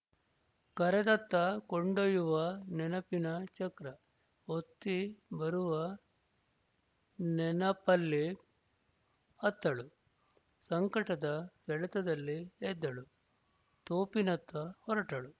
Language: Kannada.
ಕರೆದತ್ತ ಕೊಂಡೊಯ್ಯುವ ನೆನಪಿನ ಚಕ್ರ ಒತ್ತಿ ಬರುವ ನೆನಪಲ್ಲಿ ಅತ್ತಳು ಸಂಕಟದ ಸೆಳೆತದಲ್ಲಿ ಎದ್ದಳು ತೋಪಿನತ್ತ ಹೊರಟಳು